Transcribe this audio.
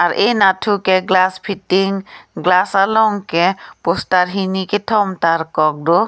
ar eh anatthu ke glass fitting glass along ke poster hini kethom tarkok do.